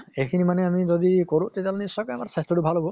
এইখিনি মানে আমি যদি কৰোঁ তেতিয়াহʼলে নিশ্চয়কৈ আমাৰ স্বাস্থ্য়টো ভাল হʼব